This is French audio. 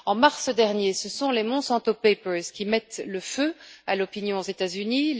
En mars dernier, ce sont les Monsanto Papers qui mettent le feu à l'opinion aux États Unis.